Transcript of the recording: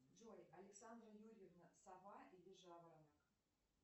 джой александра юрьевна сова или жаворонок